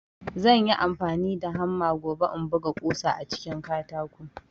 Zanyi amfani da hamma gobe in buga ƙusa a cikin katako